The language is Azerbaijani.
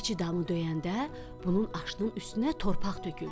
Keçi damı döyəndə bunun aşının üstünə torpaq töküldü.